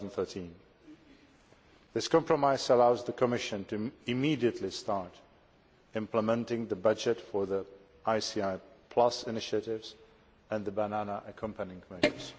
2013. This compromise allows the Commission to immediately start implementing the budget for the ICI Plus initiatives and the Banana Accompanying Measures.